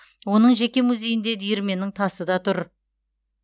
оның жеке музейінде диірменнің тасы да тұр